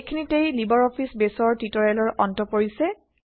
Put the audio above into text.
এইখিনিতেই LibreOffice বেইছৰ টিউটৰিয়েলৰ অন্ত পৰিছে